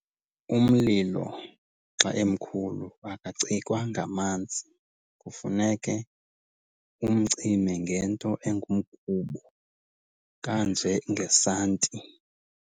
Umlilo xa emkhulu akacikwa ngamanzi. Kufuneke umcime ngento engumgubo kanjengesanti.